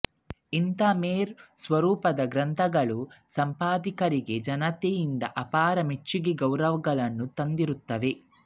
ಇಂಥ ಮೇರು ಸ್ವರೂಪದ ಗ್ರಂಥಗಳು ಸಂಪಾದಕರಿಗೆ ಜನತೆಯಿಂದ ಅಪಾರ ಮೆಚ್ಚುಗೆ ಗೌರವಗಳನ್ನು ತಂದಿರುತ್ತವೆ